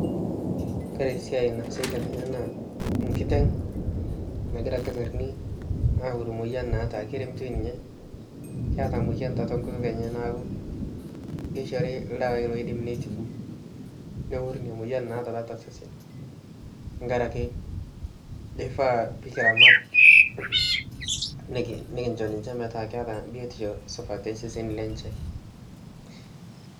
Kore esiai naasitai tene naa enkiteng nagira ilkitarini aaworu emoyian naata keremitoi ninyee keeta emoyian tiatu enkutuk enye niaku keishori ildawai oidim neitibu neworu emoyian naata tiatua osesen tenkaraki neifaa pee kiramata nikincho ninche metaa keeta biotisho naata tosesen lenye